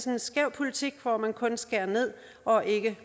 en skæv politik hvor man kun skærer ned og ikke